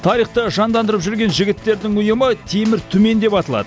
тарихты жандандырып жүрген жігіттердің ұйымы темір түмен деп аталады